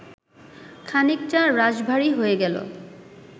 খানিকটা রাশভারী হয়ে গেল